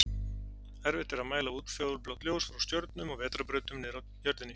Erfitt er að mæla útfjólublátt ljós frá stjörnum og vetrarbrautum niðri á jörðinni.